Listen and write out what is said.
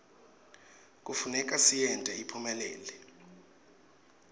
kufuneka siyente iphumelele